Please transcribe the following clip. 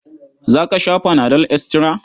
Za ka sha fana dol estira?